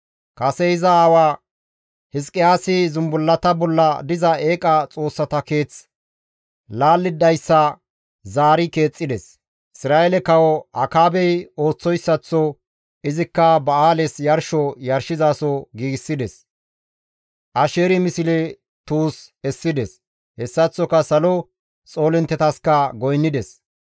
Kase iza aawa Hizqiyaasi zumbullata bolla diza eeqa xoossata keeth laallidayssa zaari keexxides; Isra7eele kawo Akaabey ooththoyssaththo izikka Ba7aales yarsho yarshizaso giigsides. Asheeri misle tuus essides; hessaththoka salo xoolinttetaska goynnides.